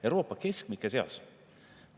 Euroopa keskmike seas!